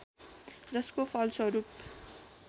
जसको फलस्वरूप